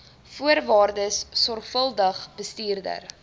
voorwaardes sorgvuldig bestudeer